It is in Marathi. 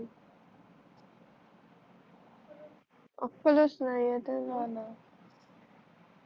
अक्कलच नाही त्यांना काय कस